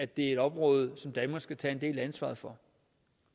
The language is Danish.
det er et område som danmark skal tage en del af ansvaret for